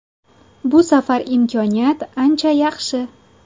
Bu safar imkoniyat ancha yaxshi.